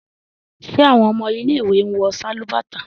ṣe awọn ọmọ ile-iwe wọ Sálúbàtà?